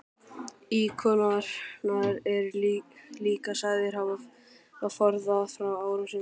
Íkonar eru líka sagðir hafa forðað frá árásum.